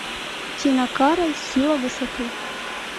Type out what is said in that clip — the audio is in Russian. тина кароль сила высоты